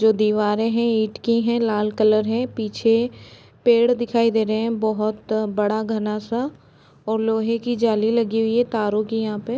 जो दीवारें है ईंट की है। लाल कलर है। पीछे पेड़ दिखाई दे रहे हैं। बहोत बड़ा घना-सा और लोहे की जाली लगी हुई है। तारों की यहाँ पे --